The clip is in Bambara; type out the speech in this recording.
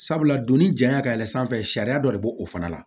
Sabula donnin janya ka yɛlɛn sanfɛ sariya dɔ de b'o o fana la